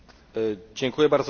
Panie Przewodniczący!